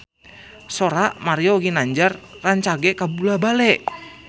Sora Mario Ginanjar rancage kabula-bale